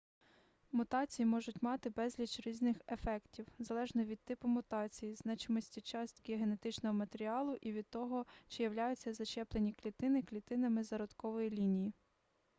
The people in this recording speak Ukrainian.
мутації можуть мати безліч різних ефектів залежно від типу мутації значимості частки генетичного матеріалу і від того чи являються зачеплені клітини клітинами зародкової лінії